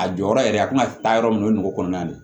A jɔyɔrɔ yɛrɛ a tina taa yɔrɔ min na o ye nogo kɔnɔna de ye